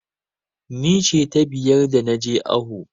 Ni ce ta biyar da na je awo.